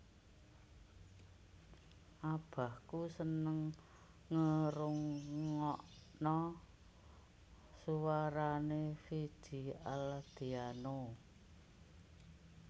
Abahku seneng ngerungokno suarane Vidi Aldiano